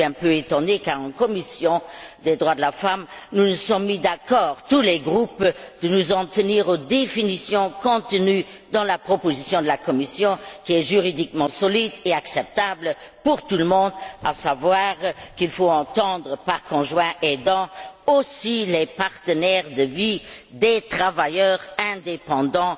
Je suis un peu étonnée, car en commission des droits de la femme, nous nous sommes mis d'accord tous les groupes pour nous en tenir aux définitions contenues dans la proposition de la Commission, qui est juridiquement solide et acceptable pour tout le monde, à savoir qu'il faut également entendre par conjoints aidants les partenaires de vie des travailleurs indépendants